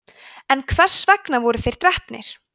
en hvers vegna voru þeir drepnir